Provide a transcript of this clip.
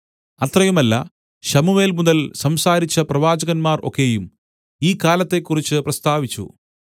അത്രയുമല്ല ശമൂവേൽ മുതൽ സംസാരിച്ച പ്രവാചകന്മാർ ഒക്കെയും ഈ കാലത്തെക്കുറിച്ച് പ്രസ്താവിച്ചു